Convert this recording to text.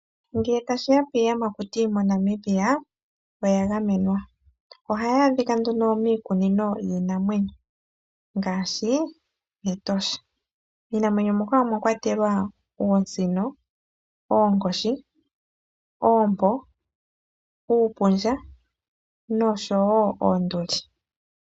Ngele tashi ya piiyamakuti moNamibia oya gamenwa. Ohayi adhika nduno miikunino yiinamwenyo ngaashi Etosha. Miinamwenyo muka omwa kwatelwa ngaashi oosino, oonkoshi, oompo, uupundja noshowo oonduli.